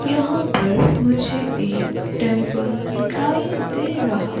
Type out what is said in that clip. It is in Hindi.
यहां पर मुझे एक टेंपल दिखाई दे रहा।